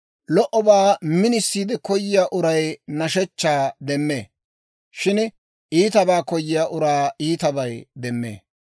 Lo"obaa minisiide koyiyaa uray nashshechchaa demmee; shin iitabaa koyiyaa uraa iitabay demmee.